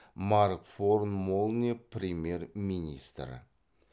марк форн молне премьер министр